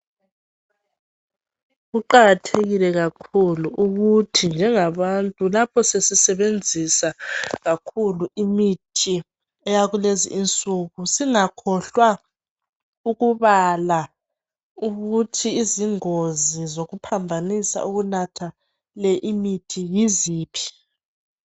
Kuqakathekile kakhulu ukuthi njenga bantu lapho sesisebenzisa kakhulu imithi eyaku lezi insuku, singakhohlwa ukubala ukuthi izingozi zokuphambanisa ukunatha le imithi yiziphi.